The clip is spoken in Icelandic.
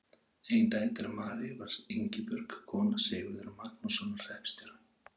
Ein dætra Maríu var Ingibjörg, kona Sigurðar Magnússonar hreppstjóra.